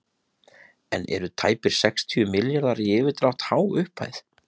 En eru tæpir sextíu milljarðar í yfirdrátt há upphæð?